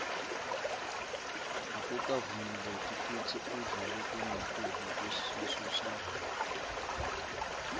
akukavumeleki kutsi udle lokungetulu kwesisu sakho